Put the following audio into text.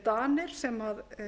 danir sem